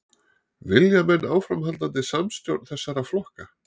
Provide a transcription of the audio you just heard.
Vilja menn áframhaldandi samstjórn þessara flokka?